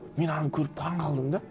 мен ананы көріп таңғалдым да